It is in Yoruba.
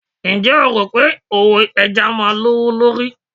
Ǹjẹ́ o rò pé òwò ẹja máa lówó lórí